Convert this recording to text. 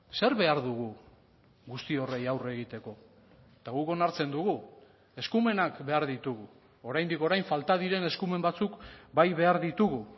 zer behar dugu guzti horri aurre egiteko eta guk onartzen dugu eskumenak behar ditugu oraindik orain falta diren eskumen batzuk bai behar ditugu